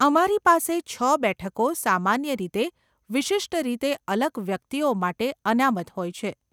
અમારી પાસે છ બેઠકો સામાન્ય રીતે વિશિષ્ટ રીતે અલગ વ્યક્તિઓ માટે અનામત હોય છે.